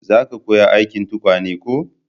za ka koya aikin tukwane ko?